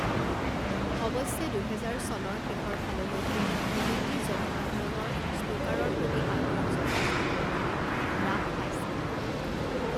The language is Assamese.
অৱশ্যে দুহেজাৰ চনৰ শেষৰ ফাললৈকে ব্ৰিটিছ জনসাধাৰণৰ স্নুকাৰৰ প্ৰতি আগ্ৰহ যথেষ্ট পৰিমাণে হ্ৰাস পাইছিল।